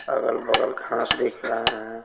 अगल-बगल खास दिख रहा है।